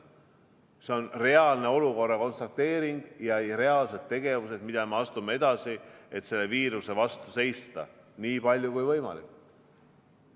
See on reaalne olukorra konstateering ja reaalsed tegevused, mida me teeme edasi, et selle viiruse vastu seista nii palju kui võimalik.